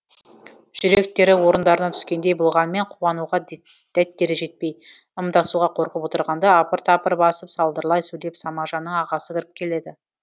жүректері орындарына түскендей болғанымен қуануға дәттері жетпей ымдасуға қорқып отырғанда апыр тапыр басып салдырлай сөйлеп самажанның ағасы кіріп келеді